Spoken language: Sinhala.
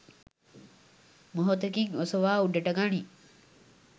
මොහොතකින් ඔසවා උඩට ගනියි.